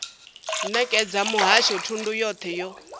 nekedza muhasho thundu yothe yo